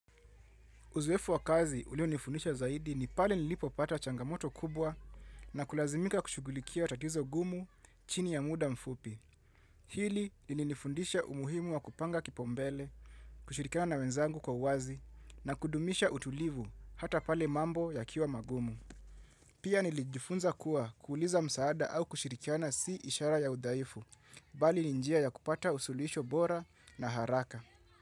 Uzoefu wa kazi ulionifundisha zaidi ni pale nilipo pata changamoto kubwa na kulazimika kushugulikia tatizo gumu chini ya muda mfupi. Hili lilifundisha umuhimu wa kupanga kipaumbele, kushirikana na wenzangu kwa uwazi na kudumisha utulivu hata pale mambo yakiwa magumu. Pia nilijifunza kuwa kuuliza msaada au kushirikana si ishara ya udaifu, mbali ni njia ya kupata usuluhisho bora na haraka.